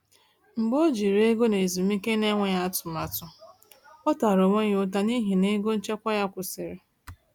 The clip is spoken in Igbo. Mgbe o jiri ego n’ezumike n’enweghị atụmatụ, ọ tara onwe ya ụta n’ihi na ego nchekwa ya kwụsịrị.